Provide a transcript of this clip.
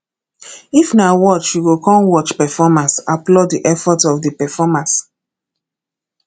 if na watch you come watch performance applaud di effort of di performers